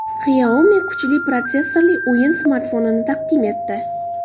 Xiaomi kuchli protsessorli o‘yin smartfonini taqdim etdi.